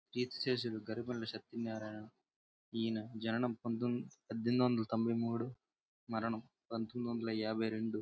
అదే చూస్తేనే ధ్యాన లక్ష్మీనారాయణ --]